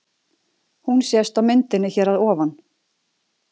Hún sést á myndinni hér að ofan.